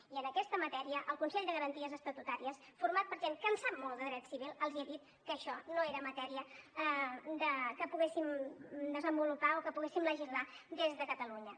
i en aquesta matèria el consell de garanties estatutàries format per gent que en sap molt de dret civil els ha dit que això no era matèria que poguéssim desenvolupar o que poguéssim legislar des de catalunya